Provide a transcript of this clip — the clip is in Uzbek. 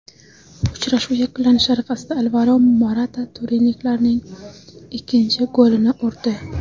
Uchrashuv yakunlanishi arafasida Alvaro Morata turinliklarning ikkinchi golini urdi.